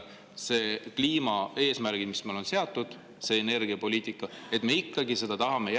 Need kliimaeesmärgid, mis on seatud, see energiapoliitika – me ikkagi seda tahame järgida …